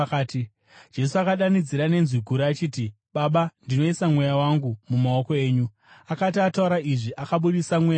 Jesu akadanidzira nenzwi guru achiti, “Baba, ndinoisa mweya wangu mumaoko enyu.” Akati ataura izvi, akabudisa mweya wake.